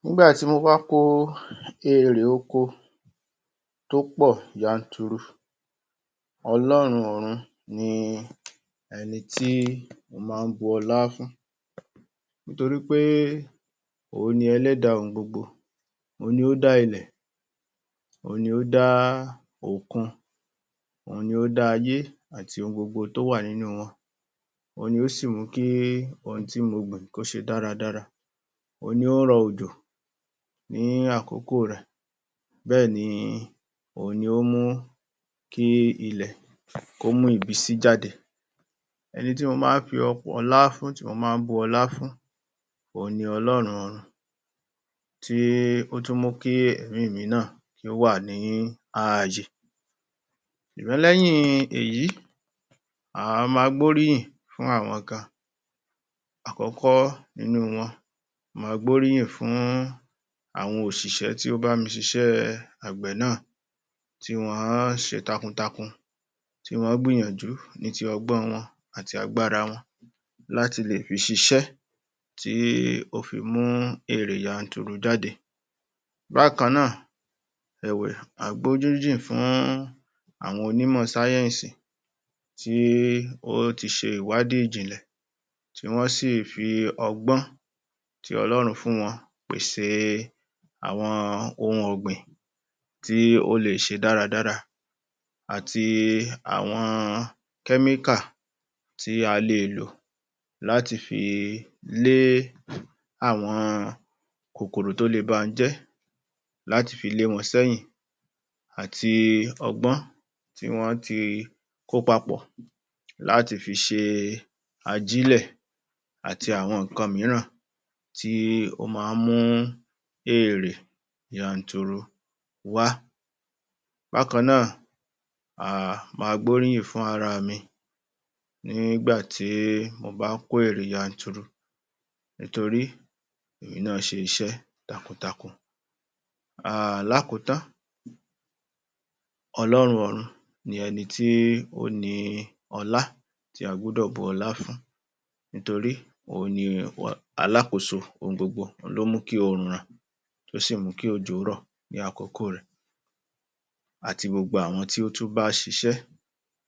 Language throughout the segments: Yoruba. Nígbà tí mo bá kó èrè oko tó pọ̀ yanturu ọlọ́rùn-un ọ̀run ni ẹnití mo má án bu ọlá fún nítorí pé òhun ni ẹlẹ́dà ohun gbogbo òhun ni ó dá ilẹ̀ òhun ni ó dá òkun òhun ni ó dá ayé àti ohun gbogbo tí ó wà ní inú wọn òhun ni ó sì mú kí ohun tí mo gbìn kó ṣe dáradára òhun ni ó rọ òjò ní àkókò rẹ̀ bẹ́ẹ̀ni òhun ni ó mú kí ilẹ̀ kó mú ìbísí jáde ẹnití mo má án fi ọlá fún tí mo má án bu ọlá fún òhun ni ọlọ́rùn-un ọ̀run tí ó tún mú kí ẹ̀mí mi náà kí ó wà ní ààyè ṣùgbọ́n lẹ́yìn èyí a ma gbóríyìn fún àwọn kan àkọ́kó nínú wọn ni a ma gbóríyìn fún àwọn òṣìṣẹ́ tí ó bá mi ṣiṣẹ́ àgbẹ̀ náà tí wọ́n ṣé takuntakun tí wọ́n gbìyànjú ni tí ọgbọ́n wọn àti agbára wọn láti lè fi ṣiṣẹ́ tí ó mú èrè yanturu jáde bákànáà ẹ̀wẹ̀ a gbóríyìn fún àwọn onímọ̀ sáyẹ́ẹ̀sì tí ó ti ṣe ìwádìí ìjìnlẹ̀ tí wọ́n sì fi ọgbọ́n tí ọlọ́run fún wọn pèsè àwọn ohun ọ̀gbìn tí ó lè ṣe dáradára àti àwọn kẹ́míkà tí a le lò láti fi lé àwọn kòkòrò tí ó lè ba ohun jẹ́ láti fi lé wọn sẹ́yìn àti ọgbọ́n tí wọ́n tí kó papọ̀ láti fi ṣe ajílẹ̀ àti àwọn ǹkan mìíràn tí ó má án mú èrè yanturu wá bákànáà um ma gbóríyìn fún ara mi ní ìgbà tí mo bá kó èrè yanturu nítorí èmi náà ṣe iṣẹ́ takuntakun ní àkótán ọlọ́run ọrun ni ẹni tí ó ni ọlá tí a gbúdọ̀ bu ọlá fún nítorí òhun ni alókòso ohun gbogbo òhun ló mú kí òrùn ràn ó sì mú kí òjò rà ní àkókò rẹ̀ àti gbogbo àwọn tí ó tú bá ṣiṣẹ́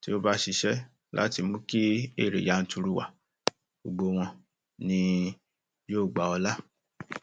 tí ó bá ṣiṣẹ́ láti mú kí èrè yanturu wá gbogbo wọn ni yóò gba ọlá